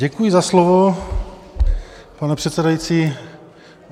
Děkuji za slovo, pane předsedající.